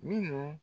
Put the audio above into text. Minnu